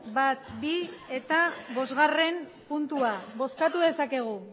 bat bi eta bosgarren puntua bozkatu dezakegu